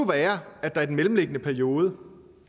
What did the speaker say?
være at der i den mellemliggende periode